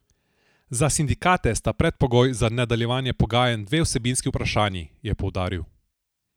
Za sindikate sta predpogoj za nadaljevanje pogajanj dve vsebinski vprašanji, je poudaril.